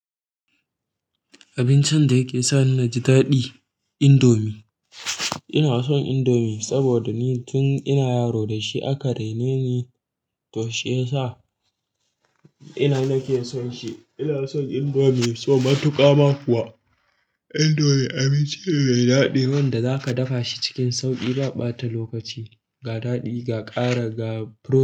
Abincin da yake sani naji daɗi, indomie. Ina son indomie saboda ni tun ina yaro da shi aka raine ni to shi ya sa ina nake son shi. Ina son indomie so matuƙa ma kuwa. Indomie abincin ne mai daɗi wanda zaka dafa shi cikin sauƙi ba ɓata lokaci, ga daɗi ga ƙara ga furo.